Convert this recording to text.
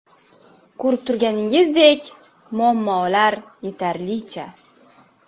Ko‘rib turganingizdek muammolar yetarlicha.